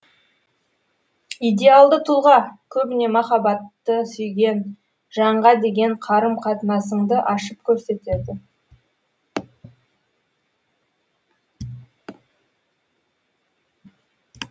идеалды тұлға көбіне махаббатты сүйген жанға деген қарым қатынасыңды ашып көрсетеді